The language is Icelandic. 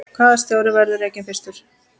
Hvaða stjóri verður rekinn fyrstur?